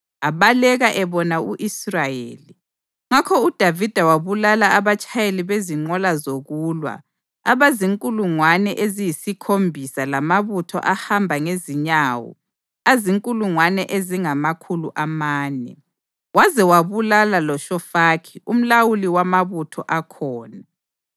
Abaleka ebona u-Israyeli, ngakho uDavida wabulala abatshayeli bezinqola zokulwa abazinkulungwane eziyisikhombisa lamabutho ahamba ngezinyawo azinkulungwane ezingamakhulu amane. Waze wabulala loShofaki umlawuli wamabutho akhona.